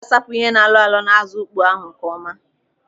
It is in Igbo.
Ọ ga-asapụ ihe na-alọ alọ n'azụ ukpoo ahụ nkeọma.